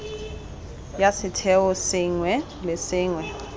ya setheo sengwe le sengwe